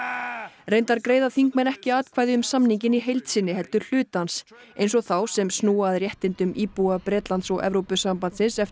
reyndar greiða þingmenn ekki atkvæði um samninginn í heild heldur hluta hans eins og þá sem snúa að réttindum íbúa Bretlands og Evrópusambandsins eftir